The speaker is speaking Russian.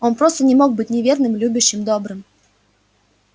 он просто не может быть не верным любящим добрым